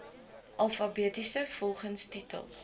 alfabeties volgens titel